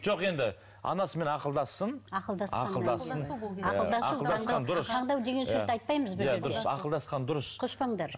жоқ енді анасымен ақылдассын ақылдассын ақылдасқан дұрыс